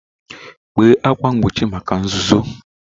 Kpee ákwà mgbochi maka nzuzo.